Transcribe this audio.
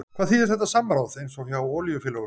Hvað þýðir þetta samráð, eins og hjá olíufélögunum?